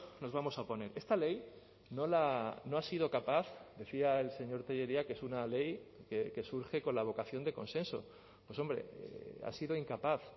nos vamos a oponer esta ley no ha sido capaz decía el señor tellería que es una ley que surge con la vocación de consenso pues hombre ha sido incapaz